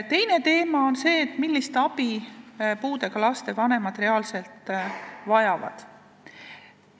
Teine teema on see, millist abi puudega laste vanemad reaalselt vajavad.